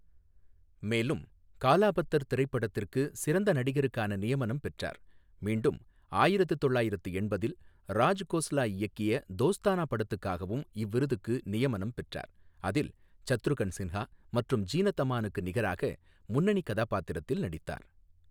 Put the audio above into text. மேலும், காலா பத்தர் திரைப்படத்துக்கு சிறந்த நடிகருக்கான நியமனம் பெற்றார், மீண்டும் ஆயிரத்து தொள்ளாயிரத்து எண்பதில் ராஜ் கோஸ்லா இயக்கிய தோஸ்தானா படத்துக்காகவும் இவ்விருதுக்கு நியமனம் பெற்றார், அதில் சத்ருகன் சின்ஹா மற்றும் ஜீனத் அமானுக்கு நிகராக முன்னணிக் கதாபாத்திரத்தில் நடித்தார்.